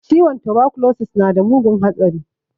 Ciwon tabakulosis nada mugun hatsari